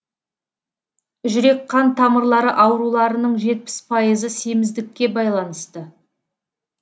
жүрек қан тамырлары ауруларының жетпіс пайызы семіздікке байланысты